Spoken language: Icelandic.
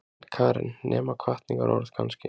Karen: Nema hvatningarorð kannski?